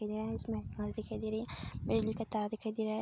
यह इसमें घर दिखाई दे रही है बिजली का तार दिखाई दे रहा है।